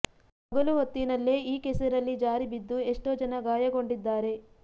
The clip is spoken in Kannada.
ಹಗಲು ಹೊತ್ತಿನಲ್ಲೇ ಈ ಕೆಸರಲ್ಲಿ ಜಾರಿ ಬಿದ್ದು ಎಷ್ಟೋ ಜನ ಗಾಯಗೊಂಡಿದ್ದಾರೆ